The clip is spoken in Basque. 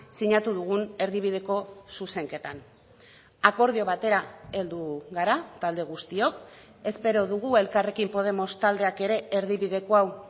sinatu dugun erdibideko zuzenketan akordio batera heldu gara talde guztiok espero dugu elkarrekin podemos taldeak ere erdibideko hau